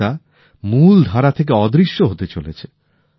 আজ তা মূল ধারা থেকে অদৃশ্য হতে চলেছে